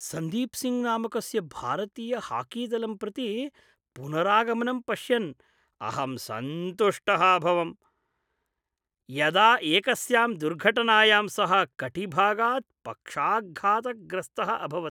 सन्दीप् सिङ्घ् नामकस्य भारतीय हाकी दलं प्रति पुनरागमनं पश्यन् अहं सन्तुष्टः अभवं, यदा एकस्यां दुर्घटनायां सः कटिभागात् पक्षाघातग्रस्तः अभवत्।